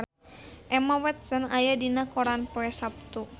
Emma Watson aya dina koran poe Saptu